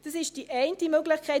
Das ist die eine Möglichkeit.